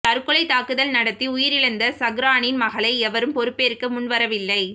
தற்கொலை தாக்குதல் நடத்தி உயிரிழந்த சஹ்ரானின் மகளை எவரும் பொறுப்பேற்க முன்வரவில்லை